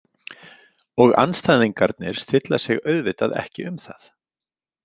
Og andstæðingarnir stilla sig auðvitað ekki um það.